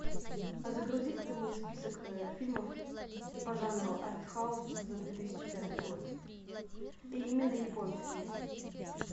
а загрузи ка ты мне список фильмов по жанру арт хаус за две тысячи пятый год и именно японские